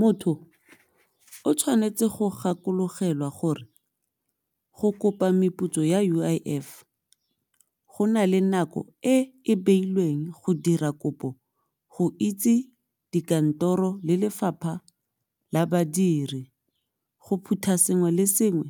Motho o tshwanetse go gakologelwa gore go kopa meputso ya U_I_F go nale nako e e beilweng go dira kopo go itse dikantoro le lefapha la badiri go phutha sengwe le sengwe